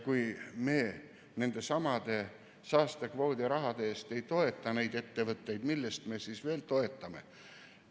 Kui me nendesamade saastekvoodirahade eest ei toeta neid ettevõtteid, siis millest me neid veel toetame?